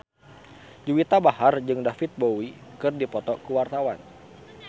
Juwita Bahar jeung David Bowie keur dipoto ku wartawan